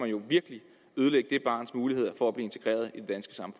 jo virkelig ødelægge det barns muligheder